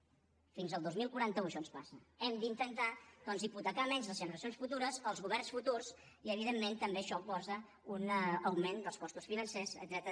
fins al dos mil quaranta u això ens passa hem d’intentar doncs hipotecar menys les generacions futures els governs futurs i evidentment també això posa un augment dels costos financers etcètera